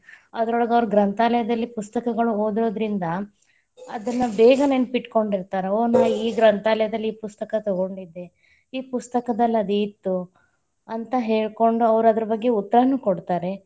ಅದರೊಳಗ ಅವ್ರ ಗ್ರಂಥಾಲಯದಲ್ಲಿ, ಪುಸ್ತಕಗಳನ್ನ ಓದೊದರಿಂದ ಅದನ್ನ ಬೇಗ ನೆನಪಿಟ್ಟಕೊಂಡಿರ್ತಾರ, ಓ ನಾ ಈ ಗ್ರಂಥಾಲಯದಲ್ಲಿ ಈ ಪುಸ್ತಕ ತಗೊಂಡಿದ್ದೆ, ಈ ಪುಸ್ತಕದಲ್ಲಿ ಅದ ಇತ್ತು ಅಂತ ಹೇಳಕೊಂಡು ಅವ್ರ ಅದರ ಬಗ್ಗೆ ಉತ್ತರಾನು ಕೊಡ್ತಾರೆ.